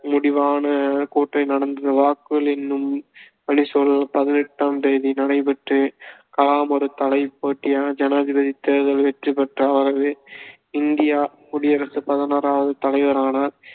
முடிவான நடந்தது வாக்குகள் எண்ணும் பணி சூலை பதினெட்டாம் தேதி நடைபெற்று கலாம் ஒரு தலை போட்டியில் ஜனாதிபதித் தேர்தலில் வெற்றி பெற்றார் அவர் இந்தியாக் குடியரசின் பதனொராவது தலைவரானார்